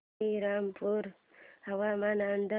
श्रीरामपूर हवामान अंदाज